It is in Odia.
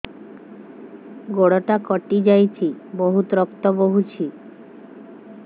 ଗୋଡ଼ଟା କଟି ଯାଇଛି ବହୁତ ରକ୍ତ ବହୁଛି